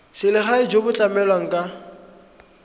selegae jo bo tlamelang ka